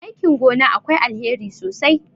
aikin gona akwai alheri sosai